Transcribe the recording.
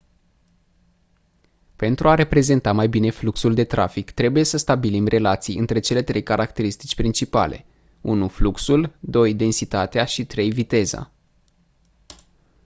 pentru a reprezenta mai bine fluxul de trafic trebuie să stabilim relații între cele trei caracterisitici principale: 1 fluxul 2 densitatea și 3 viteza